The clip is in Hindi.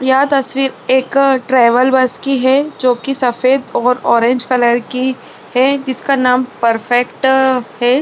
यह तस्वीर एक ट्रेवल बस की है जो की सफ़ेद और ऑरेंज कलर की है जिसका नाम परफेक्ट है।